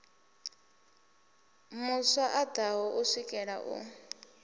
mu swaṱaho u swikela a